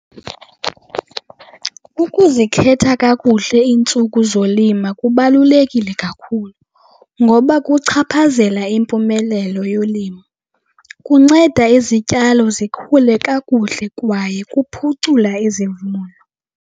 Ukuzikhetha kakuhle iintsuku zolima kubalulekile kakhulu ngoba kuchaphazela impumelelo yolimo. Kunceda izityalo zikhule kakuhle kwaye kuphucula izivuno.